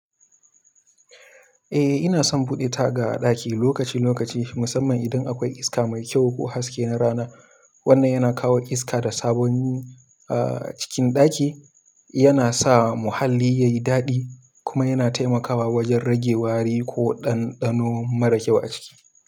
Eh, ina son buɗe taga a ɗaki lokaci-lokaci, musamman idan akwai iska mai kyau ko haske na rana. Wannan yana kawo iska da sabon cikin ɗaki, yana sa muhalli yayi daɗi kuma yana taimakawa wajen rage wari ko ɗanɗano mara kyau a ciki.